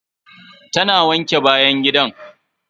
Ta na wanke bayan gidan.